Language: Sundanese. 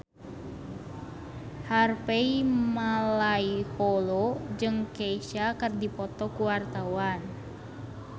Harvey Malaiholo jeung Kesha keur dipoto ku wartawan